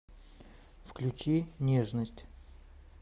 включи нежность